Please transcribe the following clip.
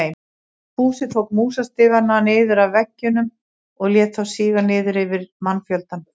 Fúsi tók músastigana niður af veggjunum og lét þá síga niður yfir mannfjöldann.